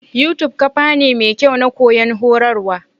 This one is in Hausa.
Yutub kafa ne mekyau Na koyon horarwa.